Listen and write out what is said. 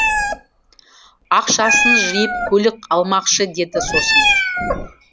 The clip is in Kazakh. ақшасын жиып көлік алмақшы деді сосын